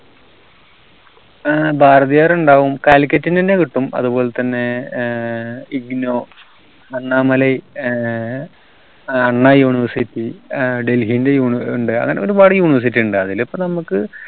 ഏർ ഭാരതീയർ ഉണ്ടാവും കാലിക്കറ്റിന്റെന്നെ കിട്ടും അതുപോലെതന്നെ ഏർ IGNOU അണ്ണാമലൈ ഏർ അണ്ണാ University ഏർ ഡെല്ലിന്റെ University ഇണ്ട് അങ്ങനെ പിന്നെ ഒരുപാട് University ഇണ്ട് അതിലിപ്പോ നമുക്ക്